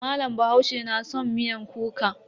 Malam bahaushe na san miyar kuka.